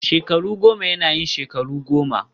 shekaru goma yana yin shekaru goma